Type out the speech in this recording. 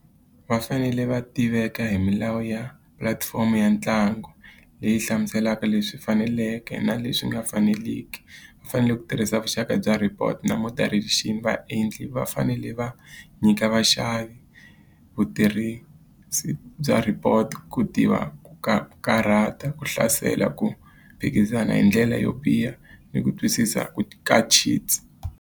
Va fanele va tiveka hi milawu ya pulatifomo ya ntlangu, leyi hlamuselaka leswi faneleke na leswi nga faneliki. Va fanele ku tirhisa vuxaka bya report na moderation. Vaendli va fanele va nyika vaxavi vutirhisi bya report, ku tiva ku ku karhata, ku hlasela, ku phikizana hi ndlela yo biha, ni ku twisisa ku .